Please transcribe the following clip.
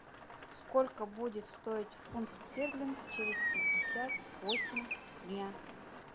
сколько будет стоить фунт стерлинг через пятьдесят восемь дня